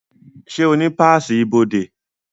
Ṣé o ní páàsì ibodè?